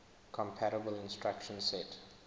compatible instruction set